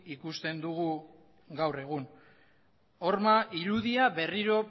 ikusten dugu gaur egun horma irudia berriro